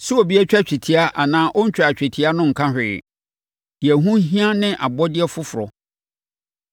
Sɛ obi atwa twetia anaa ɔntwaa twetia no nka hwee. Deɛ ɛho hia ne abɔdeɛ foforɔ.